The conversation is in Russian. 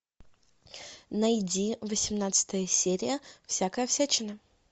найди восемнадцатая серия всякая всячина